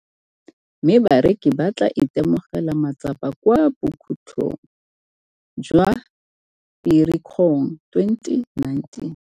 mme bareki ba tla itemogela matsapa kwa bokhutlhong jwa Firikgong 2019.